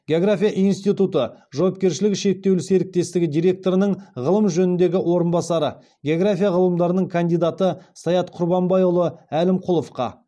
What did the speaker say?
география институты жауапкершілігі шектеулі серіктестігі директорының ғылым жөніндегі орынбасары география ғылымдарының кандидаты саят құрбанбайұлы әлімқұловқа